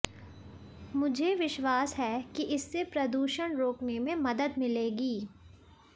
मुझे विश्वास है कि इससे प्रदूषण रोकने में मदद मिलेगी